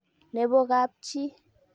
Nebo kapchi.